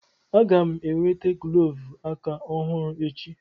Aga m e nweta glọvu aka ọhụrụ echi.